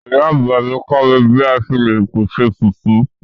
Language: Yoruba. Ìyá àgbà mi kọ mi bi a ṣe le pese fufu